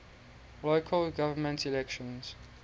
local government elections